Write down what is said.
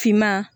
Finman